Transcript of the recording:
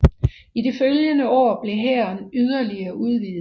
I de følgende år blev hæren yderligere udvidet